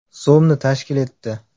so‘mni tashkil etdi.